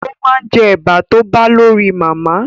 O ma jẹ́ Ẹ̀bà tó bá lọ rí màmá